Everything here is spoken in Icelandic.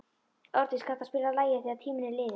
Árdís, kanntu að spila lagið „Þegar tíminn er liðinn“?